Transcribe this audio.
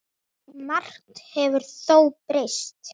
Margt hefur þó breyst.